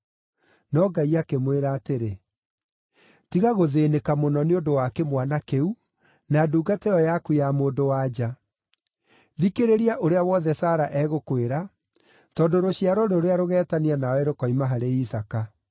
No Ngai akĩmwĩra atĩrĩ, “Tiga gũthĩĩnĩka mũno nĩ ũndũ wa kĩmwana kĩu, na ndungata ĩyo yaku ya mũndũ-wa-nja. Thikĩrĩria ũrĩa wothe Sara egũkwĩra, tondũ rũciaro rũrĩa rũgeetanio nawe rũkoima harĩ Isaaka.